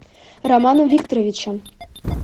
романом викторовичем